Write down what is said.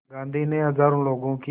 गांधी ने हज़ारों लोगों की